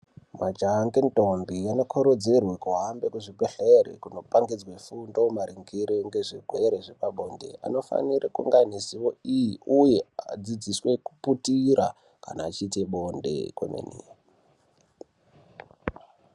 Majaha ngendombi anokurudzirwe kuhambe kuzvibhedhlera kundopangidzwa fundo maringe nezvirwere zvepabonde. Anofanira kunga aine ziwo iyi uye adzidziswe kuputira kana achiita bonde kwemene.